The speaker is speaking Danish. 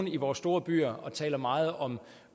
i vores store byer og taler meget om